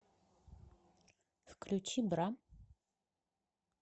включи бра